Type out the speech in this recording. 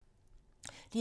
DR2